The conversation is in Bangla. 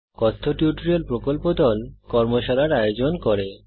কথ্য টিউটোরিয়াল প্রকল্প দল কথ্য টিউটোরিয়াল ব্যবহার করে কর্মশালার আয়োজন করে